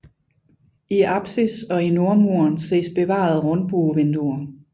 I apsis og i nordmuren ses bevarede rundbuevinduer